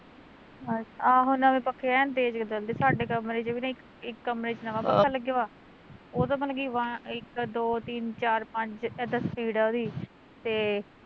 ਆਹੋ ਨਵੇ ਪੱਖੇ ਐ ਨੂੰ ਤੇਜ਼ ਚੱਲਦੇ ਸਾਡੇ ਕਮਰੇ ਚ ਵੀ ਨਾ ਇੱਕ ਕਮਰੇ ਚ ਨਵਾਂ ਪੱਖਾ ਲੱਗਿਆ ਵਾ ਉਹ ਤਾਂ ਮਤਲਬ ਕੀ ਇੱਕ ਦੋ ਤਿੰਨ ਚਾਰ ਪੰਜ ਇੱਦਾਂ speed ਐ ਉਹਦੀ, ਤੇ